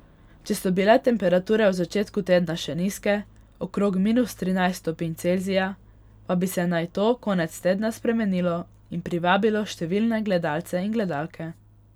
Če so bile temperature v začetku tedna še nizke, okrog minus trinajst stopinj Celzija, pa bi se naj to konec tedna spremenilo in privabilo številne gledalce in gledalke.